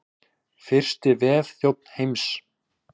Fyrsti vefþjónn heims.